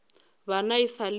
bana e sa le ba